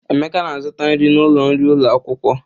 Emeka na-azụta nri n'ụlọ nri ụlọ akwụkwọ.